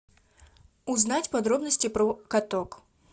узнать подробности про каток